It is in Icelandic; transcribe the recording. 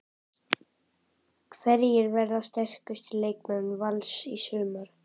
Hverjir verða sterkustu leikmenn Vals í sumar?